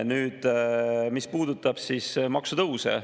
Nüüd sellest, mis puudutab maksutõuse.